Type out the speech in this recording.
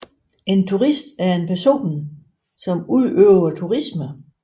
Turist er en person som udøver turisme